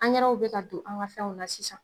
bi ka don an ga fɛnw na sisan.